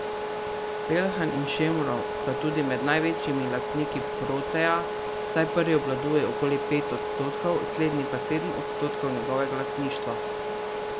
Peljhan in Šemrov sta tudi med največjimi lastniki Proteja, saj prvi obvladuje okoli pet odstotkov, slednji pa sedem odstotkov njegovega lastništva.